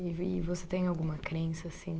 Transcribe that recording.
E, e você tem alguma crença, assim?